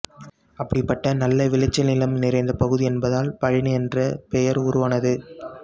அப்படிப்பட்ட நல்ல விளைச்சல் நிலம் நிறைந்த பகுதி என்பதால் பழனி என்ற பெயர் உருவானது